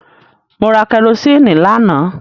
Mo ra kẹrosíìnì lánàá.